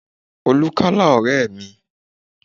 Olú kálá ọ̀rẹ́ mi